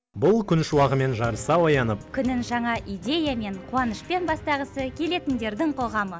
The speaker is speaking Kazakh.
бұл күн шуағымен жарыса оянып күнін жаңа идеямен қуанышпен бастағысы келетіндердің қоғамы